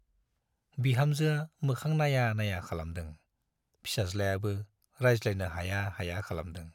बिहामजोआ मोखां नाइया नाइया खालामदों, फिसाज्लायाबो रायज्लायनो हाया हाया खालामदों।